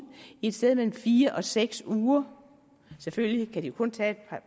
i et sted mellem fire og seks uger selvfølgelig kan de kun tage et